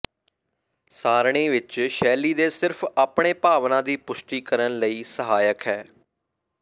ਸਾਰਣੀ ਵਿੱਚ ਸ਼ੈਲੀ ਦੇ ਸਿਰਫ ਆਪਣੇ ਭਾਵਨਾ ਦੀ ਪੁਸ਼ਟੀ ਕਰਨ ਲਈ ਸਹਾਇਕ ਹੈ